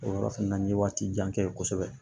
O yɔrɔ fɛnɛ na n ye waati jan kɛ kosɛbɛ